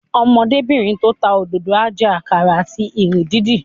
Ọmọdébìnrin tó ń ta òdòdó á jẹ àkàrà àti ìrì dídì